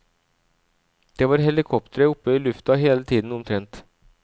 Det var helikoptre opp i lufta hele tiden omtrent.